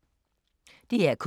DR K